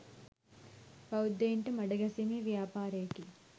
බෞද්ධයින්ට මඩ ගැසීමේ ව්‍යාපාරයකි